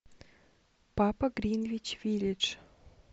папа гринвич виллидж